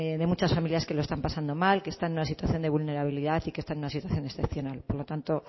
de muchas familias que lo están pasando mal que están en una situación de vulnerabilidad y que están en una situación excepcional por lo tanto